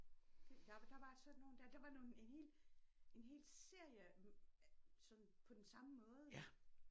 Der var der var sådan nogel dér der var nogle en hel en hel serie af sådan på den samme måde